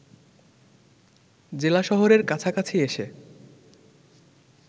জেলা শহরের কাছাকাছি এসে